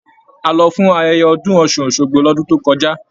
A lọ fún ayẹyẹ ọdún ọ́sun-osogbo l'ọdun tó kọjá.